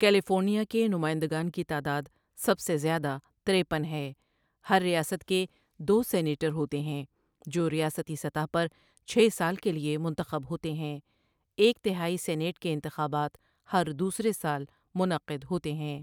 California کے نمائندگان کی تعداد سب سے زیادہ ترپن ہے ہر ریاست کے دو سینیٹر ہوتے ہیں جو ریاستی سطح پر چھ سال کے لیے منتخب ہوتے ہیںْ ایک تہائی سینیٹ کے انتخابات ہر دوسرے سال منعقد ہوتے ہیں